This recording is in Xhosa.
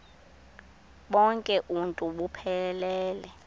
bonk uuntu buphelele